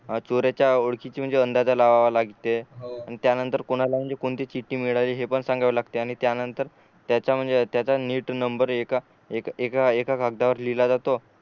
अ चोराच्या ओळखीची म्हणजे अंदाजा लावावं लागते अन त्यानंतर कोणालाही कोणती चिट्टी मिळाली हे पण सांगाव लागते आणि त्यानंतर त्याचा म्हणजे त्याचा नीट नंबर एका एका कागदावर लिहिला जातो